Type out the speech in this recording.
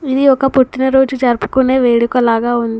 ఇది ఒక పుట్టిన రోజు రాజుపుకునే వేడుకలాగా ఉంది.